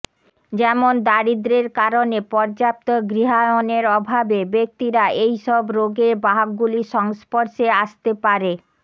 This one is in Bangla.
যেমন দারিদ্র্যের কারণে পর্যাপ্ত গৃহায়নের অভাবে ব্যক্তিরা এইসব রোগের বাহকগুলির সংস্পর্শে আসতে পারে